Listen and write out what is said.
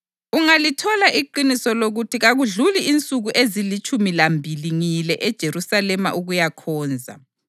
Ungalithola iqiniso lokuthi kakudluli insuku ezilitshumi lambili ngiyile eJerusalema ukuyakhonza.